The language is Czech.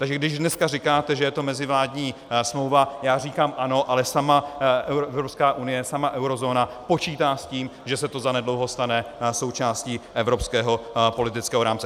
Takže když dneska říkáte, že je to mezivládní smlouva, já říkám ano, ale sama Evropská unie, sama eurozóna počítá s tím, že se to zanedlouho stane součástí evropského politického rámce.